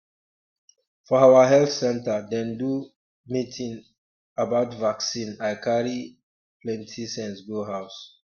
for our health center dem do um meeting um about vaccine i carry um plenty sense go house